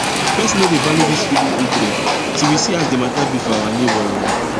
person no dey value this feeedin intro till we see as the matter be for our nebo oh